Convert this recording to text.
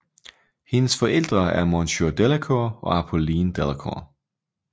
Hendes forældre er Monseiur Delacour og Apolline Delacour